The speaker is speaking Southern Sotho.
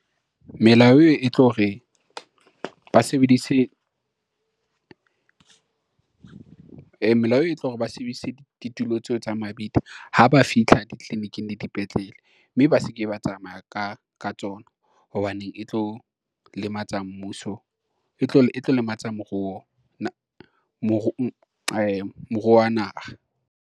Melao e e tlo re ba sebedise ditulo tseo tsa mabidi ha ba fihla ditliliniking le dipetlele, mme ba se ke ba tsamaya ka ka tsona hobaneng e tlo lematsa e tlo lematsa moruo wa naha.